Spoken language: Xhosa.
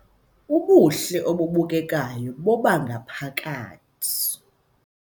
Ubuhle obubukekayo bobangaphakathi